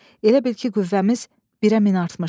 Elə bil ki, qüvvəmiz birə min artmışdı.